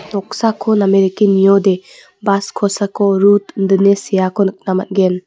noksako name dake niode bas kosako rut indine seako nikna man·gen.